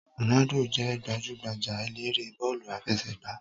Rònádò jé gbajúgbajà eléré bọ́ọ̀lù àfẹsẹ̀gbá